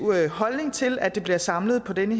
holdning til at det bliver samlet på denne